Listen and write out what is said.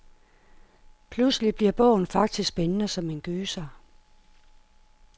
Pludselig bliver bogen faktisk spændende som en gyser.